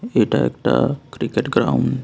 এটা একটা cricket ground.